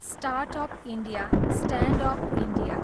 startup India, standup India